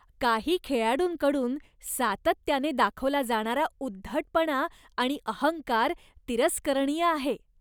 काही खेळाडूंकडून सातत्याने दाखवला जाणारा उद्धटपणा आणि अहंकार तिरस्करणीय आहे.